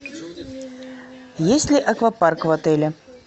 есть ли аквапарк в отеле